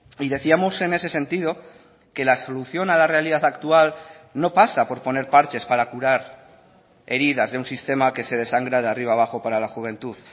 y decíamos en ese sentido que la solución a la realidad actual no pasa por poner parches para curar heridas de un sistema que se desangra de arriba abajo para la juventud